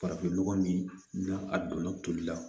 Farafin nɔgɔ min n'a donna toli la